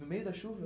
No meio da chuva?